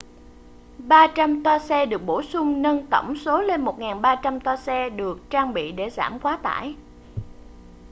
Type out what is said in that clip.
300 toa xe được bổ sung nâng tổng số lên 1300 toa xe được trang bị để giảm quá tải